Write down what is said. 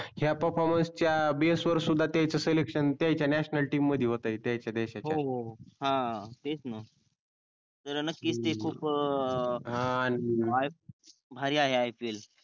हया performance च्या base वर सुद्धा त्यांच selection त्याच्या national team मध्ये होतेय त्याच्या देशाच्या हो हो तेच णा जरा नक्कीच ते खूप अं भारी आहे IPL